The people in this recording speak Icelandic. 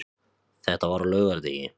Þetta var á laugardegi.